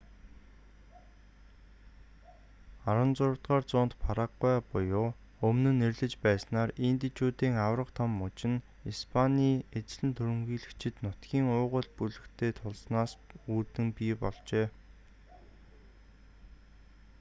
16-р зуунд парагвай буюу өмнө нь нэрлэж байснаар индичүүдийн аварга том муж нь испаний эзлэн түрэмгийлэгчид нутгийн уугуул бүлэгтэй тулснаас үүдэн бий болжээ